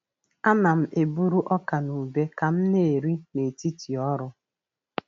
A na'm-eburu ọka na ube ka m na-eri n’etiti ọrụ.